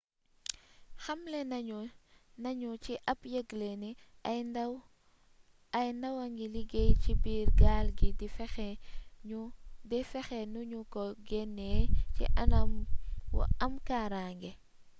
xamle nañu ci ab yëgle ni ay ndaw a ngi liggéey ci biir gaal gi di fexe nu ñu ko génnee ci anam wu am kaaraange